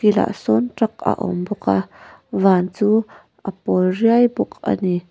tah sawn truck a awm bawk a van chu a pawl riai bawk a ni.